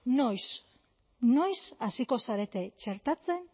noiz noiz hasiko zarete txertatzen